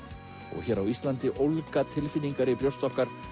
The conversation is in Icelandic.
og hér á Íslandi ólga tilfinningar í brjósti okkar